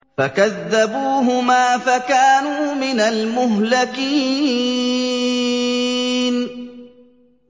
فَكَذَّبُوهُمَا فَكَانُوا مِنَ الْمُهْلَكِينَ